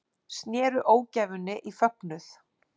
Snéru ógæfunni í fögnuð